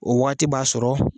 O waagati b'a sɔrɔ.